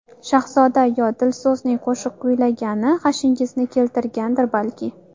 Shahzoda yo Dilso‘zning qo‘shiq kuylagani g‘ashingizni keltirgandir balki?